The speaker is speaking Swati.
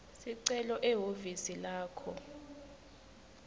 sicelo ehhovisi lakho